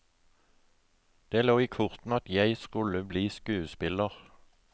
Det lå i kortene at jeg skulle bli skuespiller.